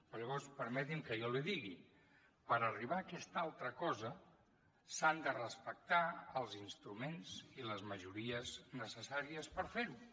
però llavors permeti’m que jo li digui per arribar a aquesta altra cosa s’han de respectar els instruments i les majories necessàries per fer ho